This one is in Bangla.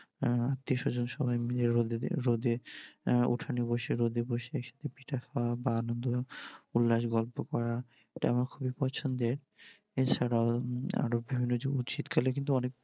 উম আত্মীয়স্বজন সবাই মিলে রোদে উঠানে বসে, রোদে বসে শীতে পিঠে খাওয়া বা আনন্দ উল্লাস, গল্প করা এটা আমার খুবই পছন্দের । এছাড়াও আরো বিভিন্ন যেমন শীতকালে কিন্তু অনেক